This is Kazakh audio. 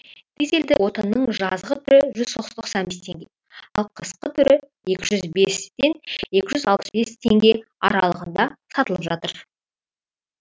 дизельді отынның жазғы түрі жүз тоқсан бес теңге ал қысқы түрі екі жүз бес пен екі жүз алпыс бес теңге аралығында сатылып жатыр